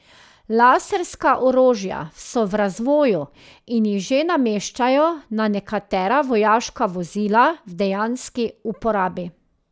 Laserska orožja so v razvoju in jih že nameščajo na nekatera vojaška vozila v dejanski uporabi.